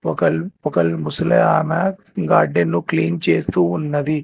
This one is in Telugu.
ఒకల్ ఒకల్ ముసలమే గార్డెన్ లో క్లీన్ చేస్తూ ఉన్నది.